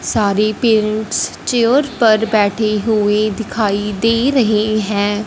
सारे parents chair पर बैठे हुए दिखाई दे रहे हैं।